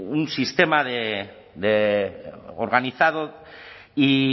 un sistema organizado y